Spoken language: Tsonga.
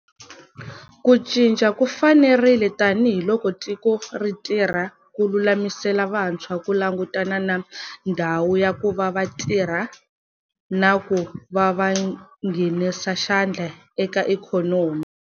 Ku cinca ku fanerile tanihi loko tiko ri tirha ku lulamisela vantshwa ku langutana na ndhawu ya ku va va tirha na ku va va nghenisa xandla eka ikhonomi.